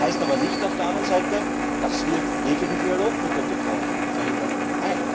Das heißt aber auf der anderen Seite nicht, dass wir jeglichen Dialog mit der Türkei verhindern wollen.